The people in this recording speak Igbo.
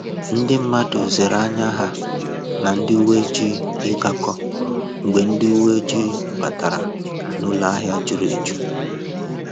Ndi mmadụ zere ànyà ha na ndị uwe ojii ịgakọ mgbe ndị uwe oji batara n'ụlọ ahịa juru eju